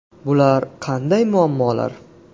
Bular qanday muammolar?